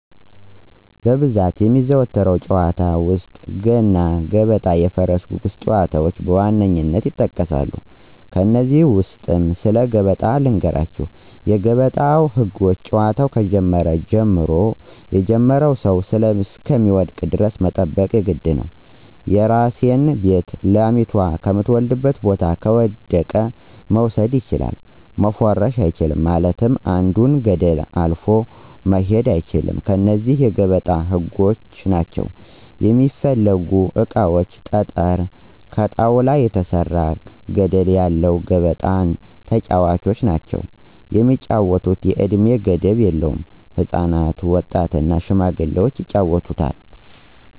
በብዛት የሚዘወተሩ ጨዋታዎች ውስጥ፦ ገና ገበጣ የፈረስ ጉጉስ ጨዋታዎች በዋነኝነት ይጠቀሳሉ። ከነዚህ ውስጥ ስለ ገበጣ ልንገራችሁ የገበጣ ህጎች ጨዋታው ከጀመረ ጀምሮ የጀመረው ሰው እሰሚወድቅ ደረስ መጠበቅ የግድ ነው፦ የራሲን ቤት ላሚቶ ከምተወልድበት ቦታ ከወደቀ መውሰድ ችላል፣ መፎረሽ አቻልም ማለትም አንድን ገደል አልፎ መሆድ አይቻል እነዚህ የገበጣ ህጎች ናቸው። የሚስፈልጉ እቃዎች ጠጠረ፣ ከጣውላ የተሰራ ገደለ ያለው ገበጣ እና ተጨዋቾች ናቸው። የሚጫወቱት የእድሜ ገደብ የለውም ህፃናት፣ ወጣት እና ሽማግሌዎች ይጫወቱታል።